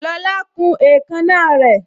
Lola kun èékánná rè